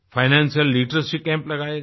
Financial literacy camps लगाए गए